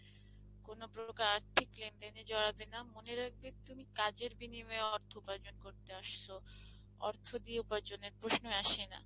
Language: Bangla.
কোন প্রকার আর্থিক লেনদেনে জড়াবে না, মনে রাখবে তুমি কাজের বিনিময়ে অর্থ উপার্জন করতে আসছো অর্থ দিয়ে উপার্জনের প্রশ্ন আসে না।